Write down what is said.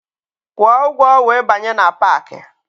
Kwụọ ụgwọ wee banye na paakị!